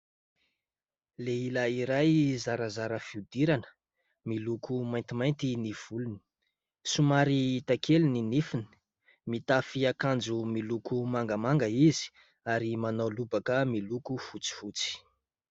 Lehilahy iray zarazara fiodirana, miloko maintimainty ny volony, somary hita kely ny nifiny, mitafy akanjo miloko mangamanga izy ary manao lobaka miloko fotsifotsy.